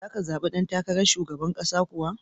Za ka zabi dan takarar shugaban ƙasa kuwa?